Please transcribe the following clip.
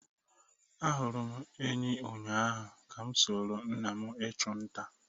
Ahụrụ m enyí ụnyahụ ka m soro nna m ịchụ nta.